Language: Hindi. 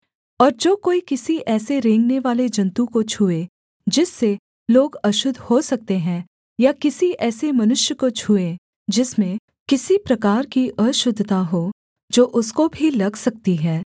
और जो कोई किसी ऐसे रेंगनेवाले जन्तु को छूए जिससे लोग अशुद्ध हो सकते हैं या किसी ऐसे मनुष्य को छूए जिसमें किसी प्रकार की अशुद्धता हो जो उसको भी लग सकती है